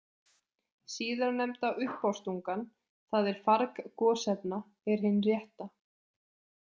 Síðarnefnda uppástungan, það er farg gosefna, er hin rétta.